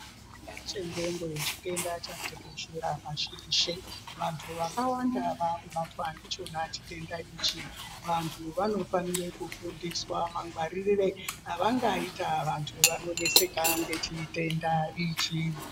Chitenda chendxondo chitenda chatekeshera pashi reshe. Vantu vakawanda vakubatwa ndichona chitenda ichi. Vantu vanofanire kufundiswa mangwaririre avangaita vantu vanoneseka ngechitenda ichi.